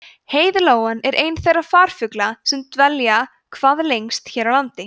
heiðlóan er einn þeirra farfugla sem dvelja hvað lengst hér á landi